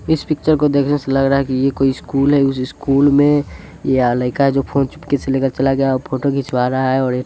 इस पिक्चर को देखने से लग रहा है कि ये कोई स्कूल है इस स्कूल में या लइका जो फ़ोन चुपके से ले कर चला गया वो फोटो खिंचवा रहा है और --